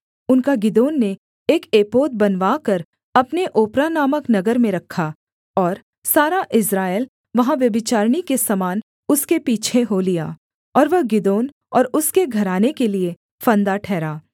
उनका गिदोन ने एक एपोद बनवाकर अपने ओप्रा नामक नगर में रखा और सारा इस्राएल वहाँ व्यभिचारिणी के समान उसके पीछे हो लिया और वह गिदोन और उसके घराने के लिये फंदा ठहरा